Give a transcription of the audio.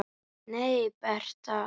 Nei, Bertha.